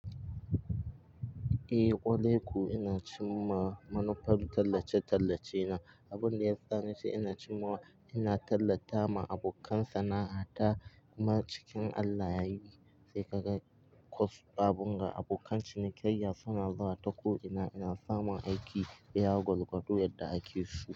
Eh, kwaraiko ina cimma manufar tallace-tallace na. Abin da yasa nace ina cimmawa, ina tallata ma abokan sana'a ta. Kuma cikin Allah yayi sai ka ga abun ga abokan cinikayya suna zuwa ta ko ina, ina samun aiki iya gwalgwado yadda ake so.